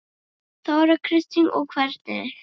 Þóra Kristín: Og hvernig?